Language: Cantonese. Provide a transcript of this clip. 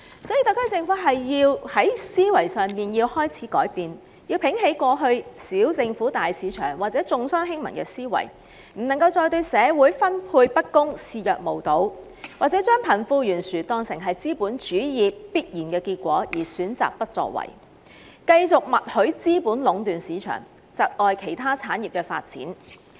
因此，特區政府有必要改變思維，摒棄以往"小政府、大市場"或"重商輕民"的原則，不能再對社會資源分配不均視若無睹，或將貧富懸殊視為資本主義的必然結果而選擇不作為，繼續默許資本家壟斷市場，窒礙其他產業發展。